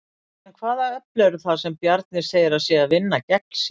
En hvaða öfl eru það sem Bjarni segir að séu að vinna gegn sér?